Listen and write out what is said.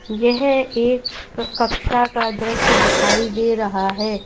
यह एक कक्षा का दृश्य दिखाई दे रहा है।